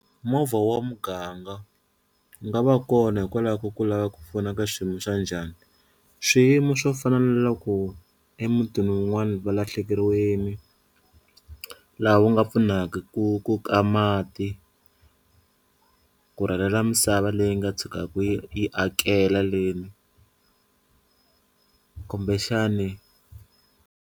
Movha wa muganga wu nga va kona hikwalaho ka ku lava ku pfuna ka xiyimo xa njhani swiyimo swo fana na loko emutini wun'wani va lahlekeriwini laha wu nga pfunaka ku ku ka mati ku rhwalela misava leyi nga tshukaka yi yi akela le kumbexani.